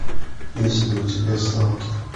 есть ли у тебя сталкер